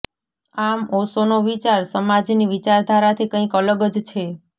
આમ ઓશોનો વિચાર સમાજની વિચારધારાથી કંઈક અલગ જ છે